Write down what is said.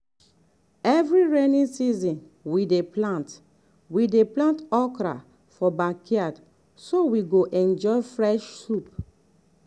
every rainy season we dey plant we dey plant okra for backyard so we go enjoy fresh soup.